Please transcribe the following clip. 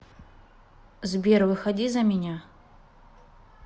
сбер выходи за меня